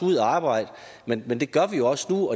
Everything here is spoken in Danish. ud og arbejde men men det gør vi også nu